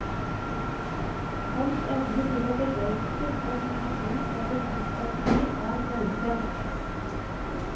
Hans evne til å begeistre og bygge bro over motsetninger er velkjent.